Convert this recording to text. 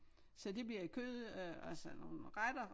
Så det bliver kød øh altså nogle retter